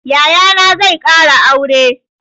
Yayana zai ƙara aure.